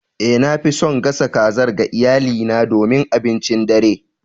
Eh, nafi son gasa kazar ga iyalina domin abincin dare.